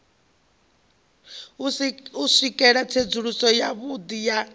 u swikela tsedzuluso yavhudi ya